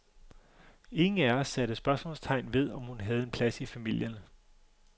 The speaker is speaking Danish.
Ingen af os satte spørgsmålstegn ved, om hun havde en plads i familien.